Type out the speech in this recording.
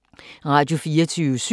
Radio24syv